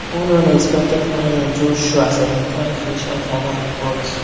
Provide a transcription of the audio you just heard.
one unexpected client just show as i dey try finish my final report